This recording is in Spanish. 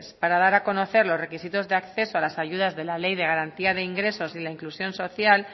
para dar a conocer los requisitos de acceso a las ayudas de la ley de garantía de ingresos y la inclusión social